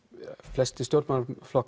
flestir stjórnmálaflokkar